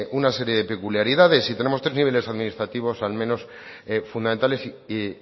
una serie de peculiaridades y tenemos tres niveles administrativos al menos fundamentales y